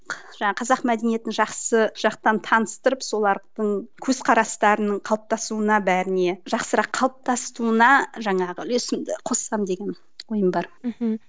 жаңағы қазақ мәдениетін жақсы жақтан таныстырып солардың көзқарастарының қалыптасуына бәріне жақсырақ қалыптасуына жаңағы үлесімді қоссам деген ойым бар мхм